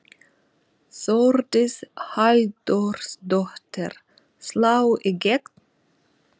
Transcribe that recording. Þórdís Halldórsdóttir: Slá í gegn?